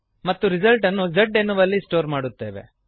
ಮತ್ತು ರಿಸಲ್ಟ್ ಅನ್ನು z ಎನ್ನುವಲ್ಲಿ ಸ್ಟೋರ್ ಮಾಡುತ್ತೇವೆ